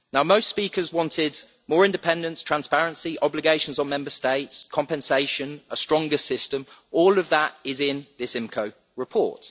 Now most speakers wanted more independence, transparency, obligations on Member States, compensation, a stronger system all of that is in this IMCO report.